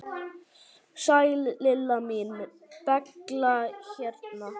Sæl Lilla mín, Bella hérna.